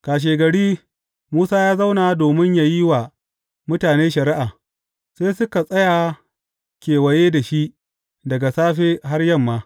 Kashegari, Musa ya zauna domin yă yi wa mutane shari’a, sai suka tsaya kewaye da shi daga safe har yamma.